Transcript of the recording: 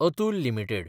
Atul limited